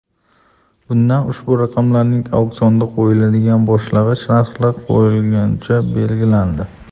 Bunda ushbu raqamlarning auksionga qo‘yiladigan boshlang‘ich narxlari quyidagicha belgilandi.